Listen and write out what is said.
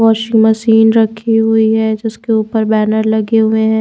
Washing machine रखी हुई है जिसके ऊपर बैनर लगे हुए हैं।